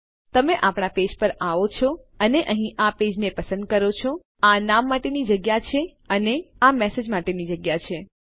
તો જો તમે આપણા પેજ પર આવો છો અને અહીં આ પેજને પસંદ કરો છો આ નામ માટેની જગ્યા છે અને આ મેસેજ માટેની જગ્યા છે